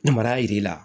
Ni mara jir'i la